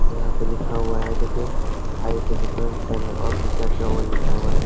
यहाँ पे लिखा हुआ है देखिए केंद्र और भी क्या-क्या वह लिखा हुआ है ।